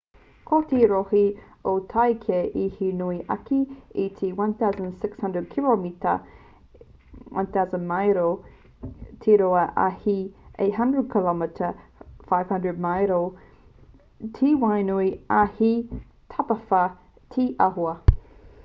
ko te rohe o tākei he nui ake i te 1,600 kiromita 1,000 māero te roa ā he 800 km 500 māero te whānui ā he tapawhā te āhua